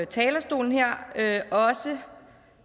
talerstolen her også